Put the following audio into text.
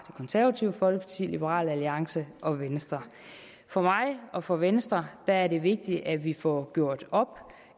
konservative folkeparti liberal alliance og venstre for mig og for venstre er det vigtigt at vi får gjort op